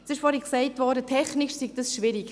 Vorhin wurde gesagt, technisch sei das schwierig.